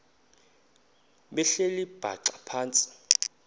behleli bhaxa phantsi